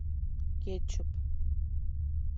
кетчуп